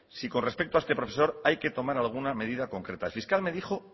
si con respecto a este profesor hay que tomar alguna medida concreta el fiscal me dijo